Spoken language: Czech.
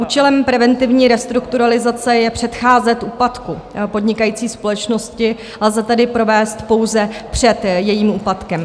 Účelem preventivní restrukturalizace je předcházet úplatku podnikající společnosti, lze tedy provést pouze před jejím úpadkem.